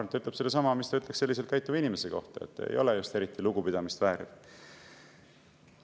Ma arvan, et see ütleb sedasama, mida ütleks selliselt käituva inimese kohta: ei ole just eriti lugupidamist vääriv.